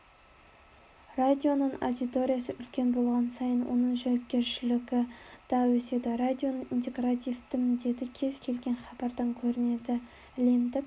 радионың аудиториясы үлкен болған сайын оның жауапкершілігі де өседі радионың интегративті міндеті кез-келген хабардан көрінеді әлемдік